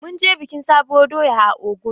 Mun je bikin sabuwar doya a Ogun.